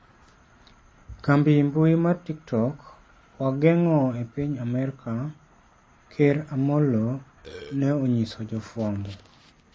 Kambi mbui mar TikTok, wageng'o e piny Amerka, ker Amollo ne onyiso jofwambo.